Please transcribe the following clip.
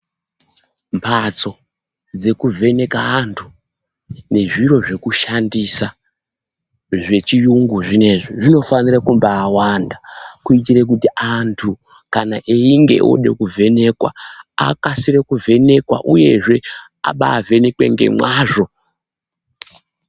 Mhatso dzekuvheneke antu nezviro zvekushandisa zvechiyungu zvinezvi zvinofanira kumbaawanda kuitire kuti antu kana einge eide kuvhenekwa, akasike kuvheneka uyezve abaavhenekwe ngemwazvo.